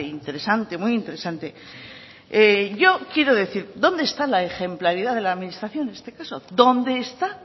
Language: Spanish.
interesante muy interesante yo quiero decir dónde está la ejemplaridad de la administración en este caso dónde está